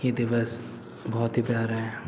ये दिवस बोहोत ही प्यारा है।